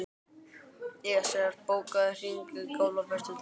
Esjar, bókaðu hring í golf á föstudaginn.